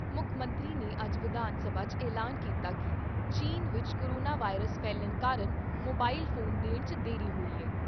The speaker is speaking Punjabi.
ਮੁੱਖ ਮੰਤਰੀ ਨੇ ਅੱਜ ਵਿਧਾਨ ਸਭਾ 'ਚ ਐਲਾਨ ਕੀਤਾ ਕਿ ਚੀਨ ਵਿਚ ਕੋਰੋਨਾ ਵਾਇਰਸ ਫੈਲਣ ਕਾਰਨ, ਮੋਬਾਇਲ ਫੋਨ ਦੇਣ 'ਚ ਦੇਰੀ ਹੋਈ ਐ।